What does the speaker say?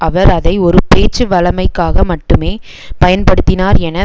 அவர் அதை ஒரு பேச்சுவழமைக்காக மட்டுமே பயன்படுத்தினார் என